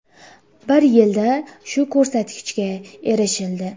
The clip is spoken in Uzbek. Bir yilda shu ko‘rsatkichga erishildi.